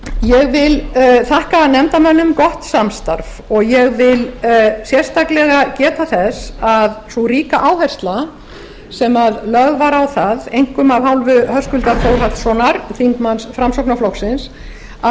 ég vil þakka nefndarmönnum gott samstarf og ég vil sérstaklega geta þess að sú ríka áhersla sem lögð var á það einkum af hálfu höskuldar þórhallssonar þingmanns framsóknarflokksins að